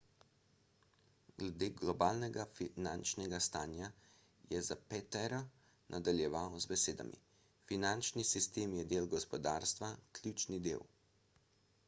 glede globalnega finančnega stanja je zapatero nadaljeval z besedami finančni sistem je del gospodarstva ključni del